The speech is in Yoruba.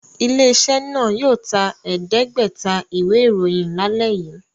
Ilé-iṣẹ́ náà yóò ta ẹ̀ẹ́dẹ́gbẹ̀ta ìwé-ìròyìn lálẹ́ yìí!